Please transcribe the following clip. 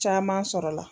Caman sɔrɔla